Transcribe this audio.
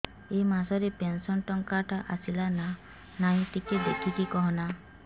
ଏ ମାସ ରେ ପେନସନ ଟଙ୍କା ଟା ଆସଲା ନା ନାଇଁ ଟିକେ ଦେଖିକି କହନା